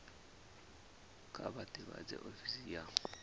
kha vha ḓivhadze ofisi ya